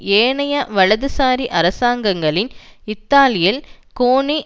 ஏனைய வலதுசாரி அரசாங்கங்களின் இத்தாலியில் கோனி